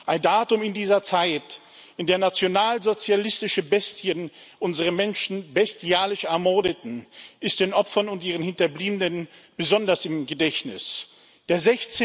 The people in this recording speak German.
Ein Datum in dieser Zeit, in der nationalsozialistische Bestien unsere Menschen bestialisch ermordeten, ist den Opfern und ihren Hinterbliebenen besonders im Gedächtnis der